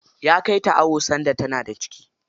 Ya kai ta awo sanda tana da ciki.